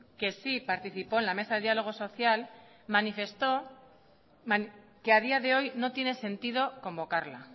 que sí participó en la mesa de diálogo social manifestó que a día de hoy no tiene sentido convocarla